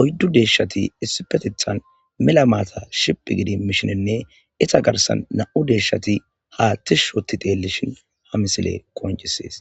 oyidu de'eshati issipetethan mela mata shidhigidi mishinee eta garisa na'mu deshati ha tishi othidi xelishin ha misiley qonicises .